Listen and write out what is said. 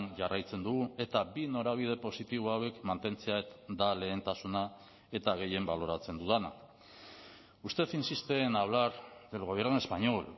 jarraitzen dugu eta bi norabide positibo hauek mantentzea da lehentasuna eta gehien baloratzen dudana usted insiste en hablar del gobierno español